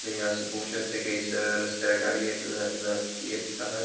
आणि हांगासर पोव शकता की हैसर रस्त्यार गाड़ी येत आहात.